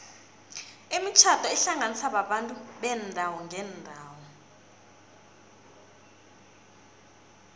imitjhado ihlanganisa abantu beendawo ngeendawo